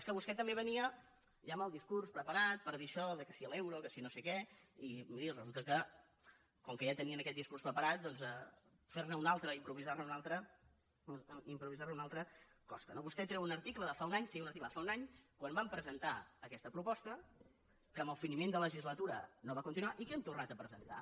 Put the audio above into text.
és que vostè també venia ja amb el discurs preparat per dir això que si l’euro que si no sé què i miri resulta que com que ja tenien aquest discurs preparat doncs fer ne un altre improvisar ne un altre costa no vostè treu un article de fa un any sí un article de fa un any quan vam presentar aquesta proposta que amb el finiment de legislatura no va continuar i que hem tornat a presentar